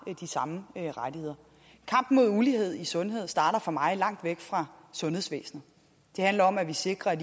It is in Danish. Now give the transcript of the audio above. de samme rettigheder kampen mod ulighed i sundhed starter for mig at se langt væk fra sundhedsvæsenet det handler om at vi sikrer at